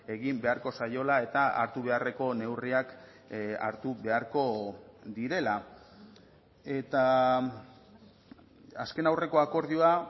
egin beharko zaiola eta hartu beharreko neurriak hartu beharko direla eta azken aurreko akordioa